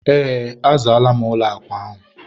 ee, azaala m ụlọ akwa ahụ.